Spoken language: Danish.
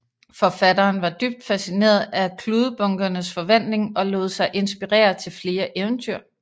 Forfatteren var dybt fascineret af kludebunkernes forvandling og lod sig inspirere til flere eventyr